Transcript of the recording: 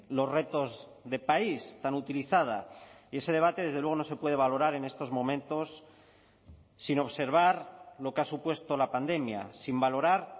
los retos de país tan utilizada y ese debate desde luego no se puede valorar en estos momentos sin observar lo que ha supuesto la pandemia sin valorar